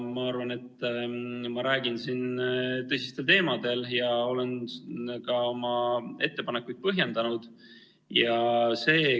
Ma arvan, et ma räägin siin tõsistel teemadel ja olen ka oma ettepanekuid põhjendanud.